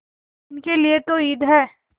इनके लिए तो ईद है